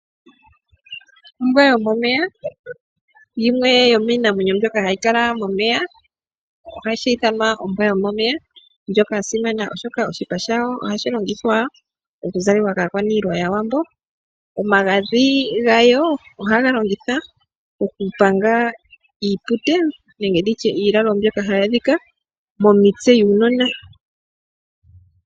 Ombwa yomomeya. Yimwe yomiinamwenyo mbyoka hayi kala momeya ohayi ithanwa ombwa yo momeya . Oya simana oshoka oshipa shayo ohashi longithwa moku zalekwa kaakwaniilwa yaawambo. Omagadhi gayo ohaga longithwa oku panga iilalo mbyoka ha yi adhika momitse dhuunona.